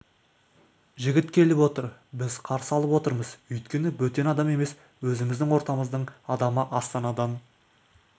жігіт келіп отыр біз қарсы алып отырмыз өйткені бөтен адам емес өзіміздің ортамыздың адамы астанадан